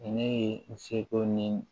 Ne ye n seko ni